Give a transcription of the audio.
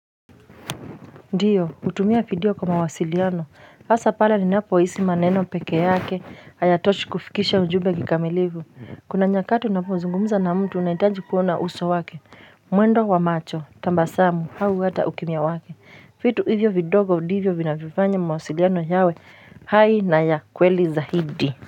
Ndiyo utumia vidio kwa mawasiliano. Hasa pala ni napo isi maneno peke yake ayatochi kufikisha ujube kikamilivu. Kuna nyakati unapozungumuza na mtu unaitaji kuona uso wake. Mwendo wa macho, tambasamu, hau wata ukimia wake. Fitu hivyo vidogo hivyo vina vivanya mawasiliano yawe. Hai na ya kweli za hidi.